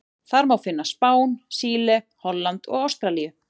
Þar má finna Spán, Síle, Holland og Ástralíu.